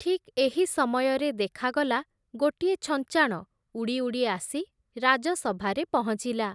ଠିକ୍ ଏହି ସମୟରେ ଦେଖାଗଲା ଗୋଟିଏ ଛଞ୍ଚାଣ ଉଡ଼ି ଉଡ଼ି ଆସି, ରାଜସଭାରେ ପହଞ୍ଚିଲା ।